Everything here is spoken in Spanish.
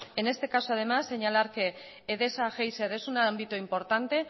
en este caso además señalar que edesa geiser es un ámbito importante